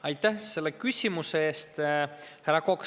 Aitäh selle küsimuse eest, härra Kokk!